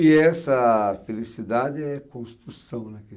E essa felicidade é construção na